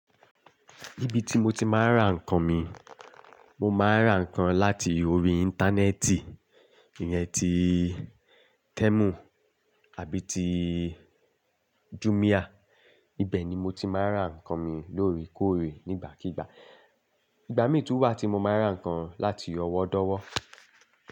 Ibi tí mo ti máa ń ra nǹkan mi, mo máa ń ra nǹkan láti orí Íńtánẹ́ẹ̀tì, ìyẹn ti Temu àbí ti Jumia. Ibẹ̀ ni mo ti máa ń ra nǹkan mi lóore kóóre nígbàkígbà. Ìgbà mí tún wà tí mo máa ń ra nǹkan láti ọwọ́dọ̀wọ́